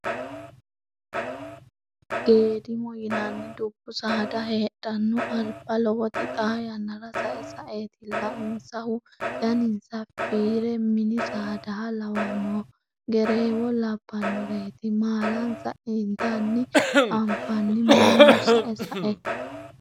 Geedimmo yinanni dubbu saada heedhano alba lowoti xa yannara sae saetilla insahu daninsa fiire mini saadaha lawanoho gerewo labbanoreti maalansa ittanna anfani mannu sae sae.